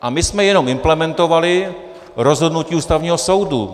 A my jsme jenom implementovali rozhodnutí Ústavního soudu.